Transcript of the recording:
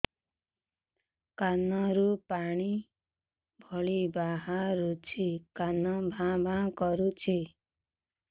କାନ ରୁ ପାଣି ଭଳି ବାହାରୁଛି କାନ ଭାଁ ଭାଁ କରୁଛି